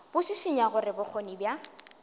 bo šišinya gore bokgoni bja